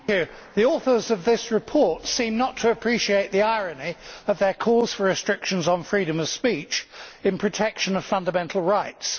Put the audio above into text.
Mr President, the authors of this report seem not to appreciate the irony of their calls for restrictions on freedom of speech in protection of fundamental rights.